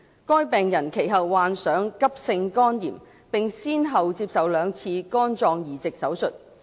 該病人其後患上急性肝炎，並先後接受了兩次肝臟移植手術。